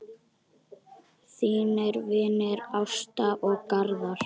Þínir vinir, Ásta og Garðar.